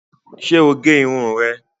Ṣé o gé irun rẹ̀